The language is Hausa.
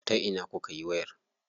Ta ina kukayi wayar?